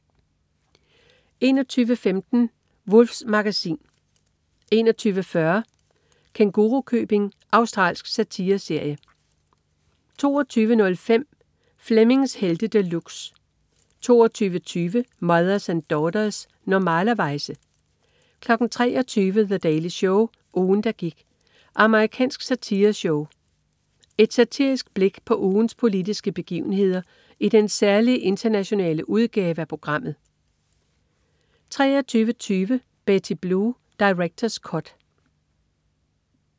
21.15 Wulffs Magasin 21.40 Kængurukøbing. Australsk satireserie 22.05 Flemmings Helte De Luxe 22.20 Mothers and Daughters. Normalerweize 23.00 The Daily Show. Ugen, der gik. Amerikansk satireshow. Et satirisk blik på ugens politiske begivenheder i den særlige internationale udgave af programmet 23.20 Betty Blue. Director's cut